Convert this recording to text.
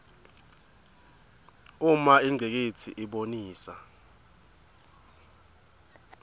uma ingcikitsi ibonisa